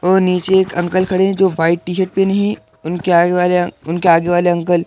और नीचे एक अंकल खड़े हैं जो व्हाइट टी-शर्ट पहने हैं उनके आये वाले उनके आगे वाले अंकल --